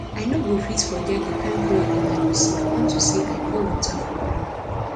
i no go fit forget the kin flogging i receive unto say i pour water for ground